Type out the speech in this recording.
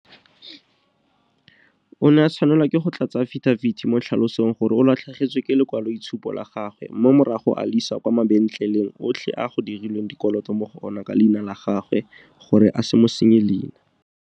O ne a tshwanelwa ke go tlatsa afidabiti mo a tlhalosang gore o latlhegetswe ke lekwaloitshupo la gagwe mme morago a le isa kwa mabentleleng otlhe a go dirilweng dikoloto mo go ona ka leina la gagwe gore a se mo senye leina.